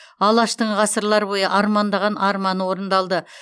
алаштың ғасырлар бойы армандаған арманы орындалды